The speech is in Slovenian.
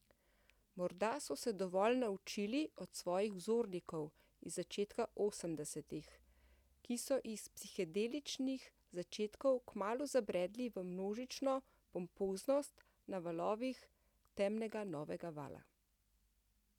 Morda so se dovolj naučili od svojih vzornikov iz začetka osemdesetih, ki so iz psihedeličnih začetkov kmalu zabredli v množično pompoznost na valovih temnega novega vala.